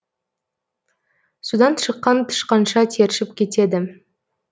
судан шыққан тышқанша тершіп кетеді